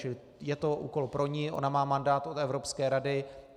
Čili je to úkol pro ni, ona má mandát od Evropské rady.